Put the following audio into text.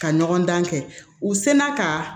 Ka ɲɔgɔndan kɛ u sina ka